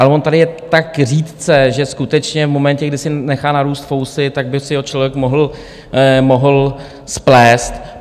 Ale on tady je tak řídce, že skutečně v momentě, kdy si nechá narůst fousy, tak by si ho člověk mohl splést.